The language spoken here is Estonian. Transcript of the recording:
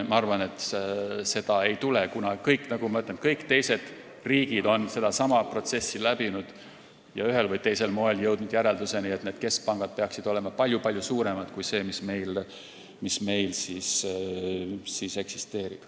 Ma arvan, et seda ei tule, kuna, nagu ma ütlesin, kõik teised riigid on sellesama protsessi läbinud ja jõudnud ühel või teisel moel järelduseni, et keskpangad peaksid olema palju-palju suuremad kui see, mis meil eksisteerib.